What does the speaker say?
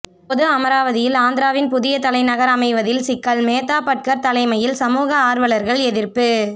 பொது அமராவதியில் ஆந்திராவின் புதிய தலைநகர் அமைவதில்சிக்கல்மேதா பட்கர் தலைமையில் சமூக ஆர்வலர்கள் எதிர்ப்பு